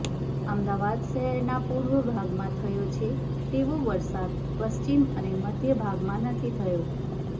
અમદાવાદ શહેરના પૂર્વ ભાગમાં થયો છે તેવો વરસાદ પશ્ચિમ અને મધ્ય ભાગમાં નથી થયો